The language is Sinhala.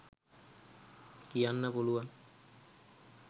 කියන්න පුළුවන්.